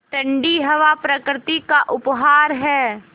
ठण्डी हवा प्रकृति का उपहार है